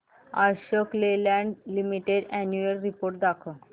Ashok Leyland limited annual report दाखव